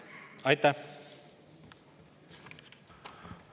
Aitäh!